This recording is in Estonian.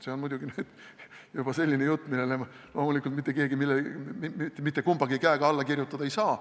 See on muidugi juba selline jutt, millele loomulikult mitte keegi mitte kummagi käega alla kirjutada ei saa.